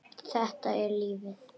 Þetta er lífið.